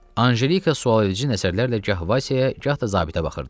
Anjelika sual edici nəzərlərlə gah Vasya gah da zabitə baxırdı.